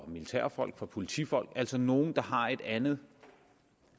militærfolk for politifolk altså nogle der har et andet